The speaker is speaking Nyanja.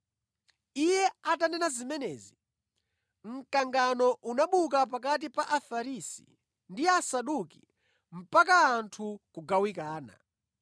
Iye atanena zimenezi, mkangano unabuka pakati pa Afarisi ndi Asaduki mpaka anthu kugawikana.